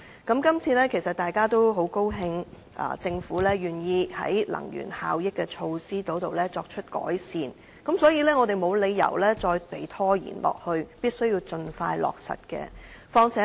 議員其實應該感到很高興，政府願意在能源效益措施方面作出改善，所以，我們沒有理由再拖延下去，而應盡快落實有關計劃。